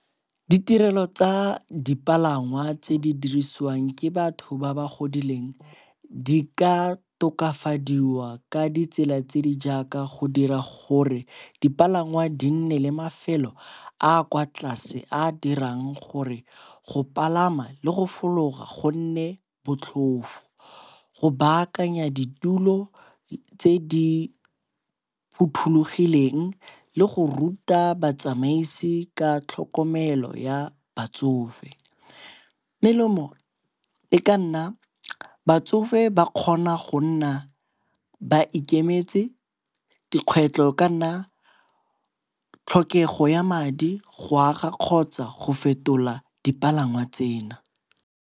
Ditirelo tsa dipalangwa tse di dirisiwang ke batho ba ba godileng di ka tokafadiwa ka ditsela tse di jaaka go dira gore dipalangwa di nne le mafelo a a kwa tlase a a dirang gore go palama le go fologa gonne botlhofo. Go baakanya ditulo tse di phothulogileng le go ruta batsamaisi ka tlhokomelo ya batsofe. Melemo e ka nna batsofe ba kgona go nna ba ikemetse, dikgwetlo e ka nna tlhokego ya madi go aga kgotsa go fetola dipalangwa tsena.